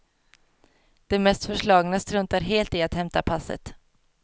De mest förslagna struntar helt i att hämta passet.